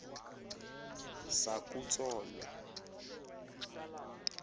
sakutsolo